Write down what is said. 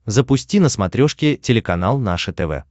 запусти на смотрешке телеканал наше тв